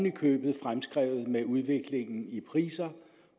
i købet fremskrevet med udviklingen i priser